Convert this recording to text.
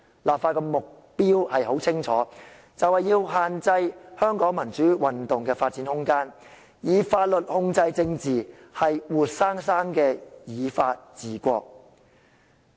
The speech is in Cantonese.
立法的目標很清楚，便是要限制香港民主運動的發展空間，以法律控制政治，是活生生的"以法治國"。